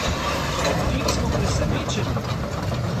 Ob tem smo presenečeni!